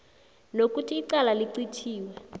nokuthi icala licithiwe